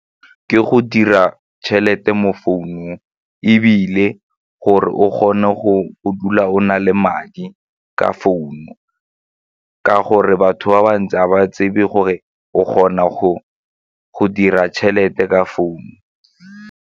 Ke go dira tšhelete mo founung ebile gore o kgone go dula o na le madi ka founu ka gore batho ba bantsi ga ba tsebe gore o kgona go dira tšhelete ka founu.